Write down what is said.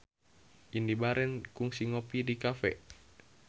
Indy Barens kungsi ngopi di cafe